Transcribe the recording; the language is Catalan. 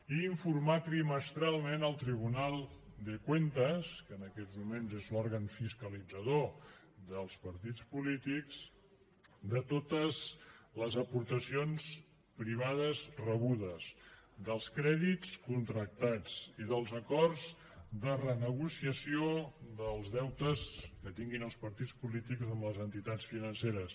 i informar trimestralment el tribunal de cuentas que en aquests moments és l’òrgan fiscalitzador dels partits polítics de totes les aportacions privades rebudes dels crèdits contractats i dels acords de renegociació dels deutes que tinguin els partits polítics amb les entitats financeres